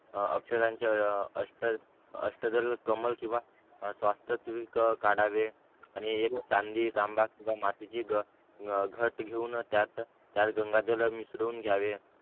अक्षदांचा अष्ट अष्ट दल कमळ किंवा स्वस्तत्विक काढावे आणि एक चांदी तांबा किंवा मातीची घ घत घेऊन त्यात गंगा जल मिसळून घ्यावे